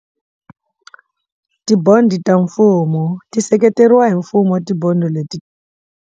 Ti-bond ta mfumo ti seketeriwa hi mfumo wa ti-bond leti.